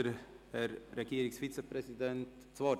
Wünscht der Herr Regierungsrat das Wort?